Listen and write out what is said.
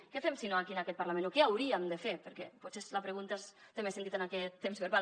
què fem si no aquí en aquest parlament o què hauríem de fer perquè potser la pregunta té més sentit en aquest temps verbal